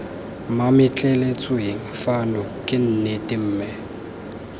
mametleletsweng fano ke nnete mme